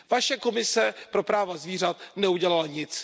Vaše Komise pro práva zvířat neudělala nic.